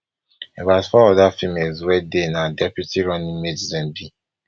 about four oda females wey dey na deputy running mates dem be